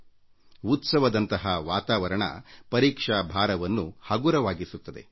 ಈ ಹಬ್ಬದ ವಾತಾವರಣವು ಹಗುರವಾದ ಪರಿಸರವನ್ನು ಸೃಷ್ಟಿಸುತ್ತದೆ